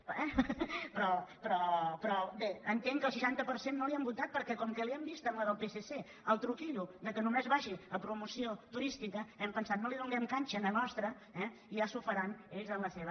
eh però bé entenc que el seixanta per cent no li han votat per·què com que hi hem vist en la del psc el truqui·llo que només vagi a promoció turística hem pensat no li donem canxa en la nostra i ja s’ho faran ells en la seva